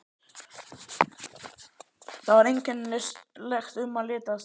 Þar var einkennilegt um að litast.